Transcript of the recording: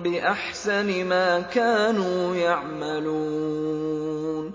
بِأَحْسَنِ مَا كَانُوا يَعْمَلُونَ